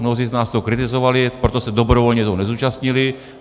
Mnozí z nás to kritizovali, proto se dobrovolně toho nezúčastnili.